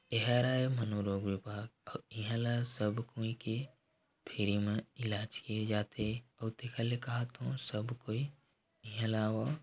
इहरे मनोरोग विभाग अउ इंहला सब कोई के फ्री म इलाज किये जाथे ओती का ले कहात हों सब कोई इहे ला आवो--